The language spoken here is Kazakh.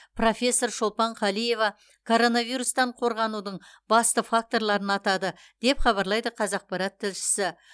профессор шолпан қалиева коронавирустан қорғанудың басты факторларын атады деп хабарлайды қазақпарат тілшісі